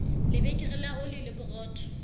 lebekere la oli le borotho